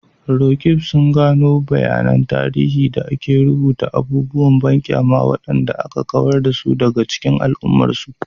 Roqeeb sun gano bayanan tarihi da ke rubuta abubuwan banƙyama waɗanda aka kawar da su daga cikin al'ummarsu.